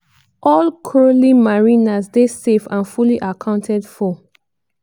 all crowley mariners dey safe and fully accounted for."